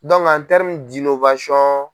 .